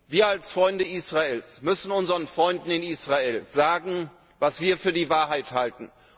Wir als Freunde Israels müssen unseren Freunden in Israel sagen, was wir für die Wahrheit halten.